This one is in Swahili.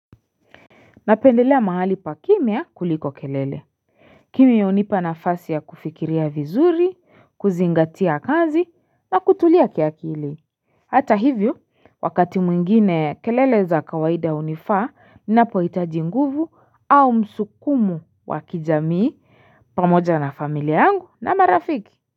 Napendelea mahali pa kimya kuliko kelele Kim ya hunipa na fasi ya kufikiria vizuri, kuzingatia kazi na kutulia kiakili Hata hivyo wakati mwingine kelele za kawaida hunifaa na poitaji nguvu au msukumo wa kijamii pamoja na familia yangu na marafiki.